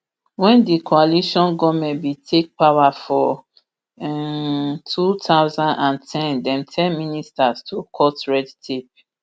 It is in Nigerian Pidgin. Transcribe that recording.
wen di coalition goment bin take power for um two thousand and ten dem tell ministers to cut red tape